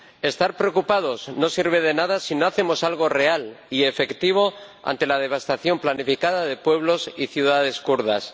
Estar preocupados no sirve de nada si no hacemos algo real y efectivo ante la devastación planificada de pueblos y ciudades kurdos.